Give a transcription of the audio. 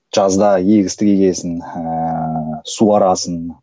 жазда егістік егесің ыыы суарасың